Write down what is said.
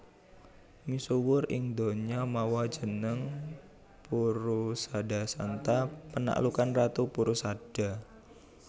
Misuwur ing donya mawa jeneng Purusadasanta panaklukan Ratu Purusada